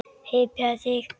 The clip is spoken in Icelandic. Hypjaðu þig.